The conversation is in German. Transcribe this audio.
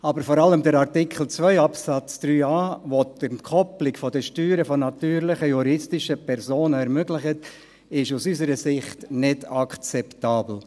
Aber vor allem der Artikel 2 Absatz 3a, der die Entkoppelung der Steuern von natürlichen und juristischen Personen ermöglicht, ist aus unserer Sicht nicht akzeptabel.